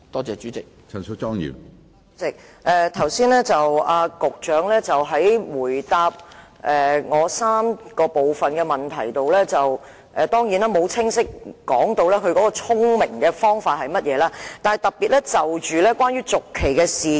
主席，局長剛才在回答我的主體質詢第三部分時，當然沒有清楚說明"聰明的方法"為何，但卻特別提及土地契約的續期事宜。